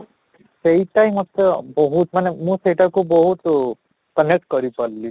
ସେଇଟା ହିଁ ମୋତେ ବହୁତ ମାନେ ମୁଁ ସେଇଟା କୁ ବହୁତ connect କରି ପାରିଲି